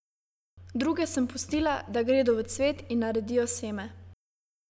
Druge sem pustila, da gredo v cvet in naredijo seme.